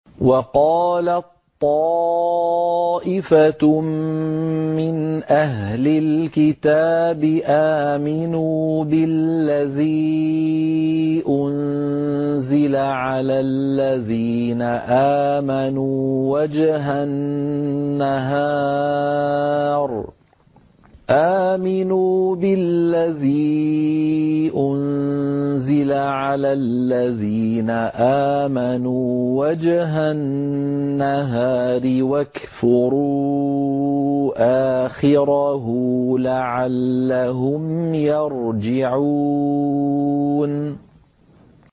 وَقَالَت طَّائِفَةٌ مِّنْ أَهْلِ الْكِتَابِ آمِنُوا بِالَّذِي أُنزِلَ عَلَى الَّذِينَ آمَنُوا وَجْهَ النَّهَارِ وَاكْفُرُوا آخِرَهُ لَعَلَّهُمْ يَرْجِعُونَ